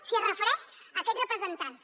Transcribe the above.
si es refereix a aquests representants